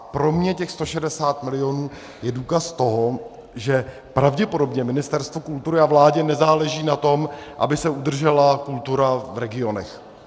Pro mě těch 160 mil. je důkaz toho, že pravděpodobně Ministerstvu kultury a vládě nezáleží na tom, aby se udržela kultura v regionech.